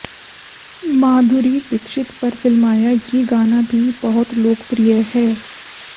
माधुरी दीक्षित पर फिल्माया ये गाना भी बहुत लोकप्रिय है